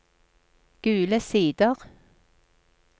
Gule Sider